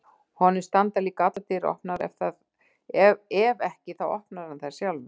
Honum standa líka allar dyr opnar og ef ekki þá opnar hann þær sjálfur.